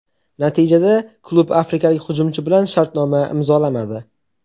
Natijada klub afrikalik hujumchi bilan shartnoma imzolamadi.